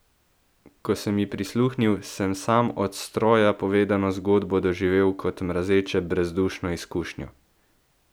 Ko sem ji prisluhnil, sem sam od stroja povedano zgodbo doživel kot mrazeče brezdušno izkušnjo.